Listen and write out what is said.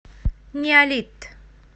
неолит